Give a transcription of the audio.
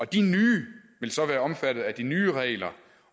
de nye vil så være omfattet af de nye regler